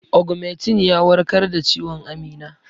Ogmentin ya warkar da ciwon Amina.